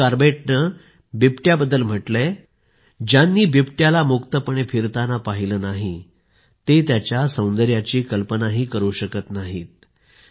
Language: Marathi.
जिम कॉर्बेटने बिबट्याबद्दल म्हटले आहे ज्यांनी बिबट्याला मुक्तपणे फिरताना पाहिले नाहीत ते त्याच्या सौंदर्याची कल्पनाही करू शकत नाहीत